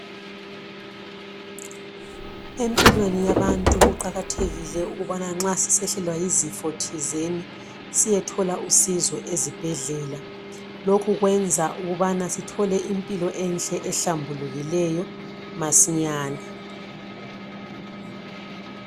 Empilweni yabantu kuqakathekile ukubana nxa sisehlelwa yizifo thizeni siyethola usizo ezibhedlela. Lokhu kwenza ukubana sithole impilo enhle ehlambulukileyo masinyane.